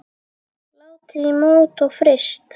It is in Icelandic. Látið í mót og fryst.